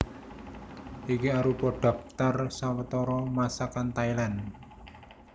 Iki arupa dhaptar sawetara Masakan Thailand